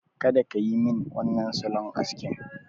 Kada kayi min wannan salon askin!